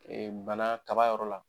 bana kaba yɔrɔ la